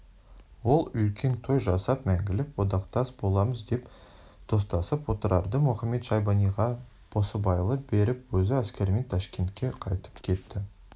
ол үлкен той жасап мәңгілік одақтас боламыз деп достасып отырарды мұхамед-шайбаниға басыбайлы беріп өзі әскерімен ташкентке қайтып кетті